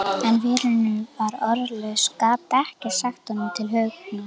En vinurinn var orðlaus, gat ekkert sagt honum til huggunar.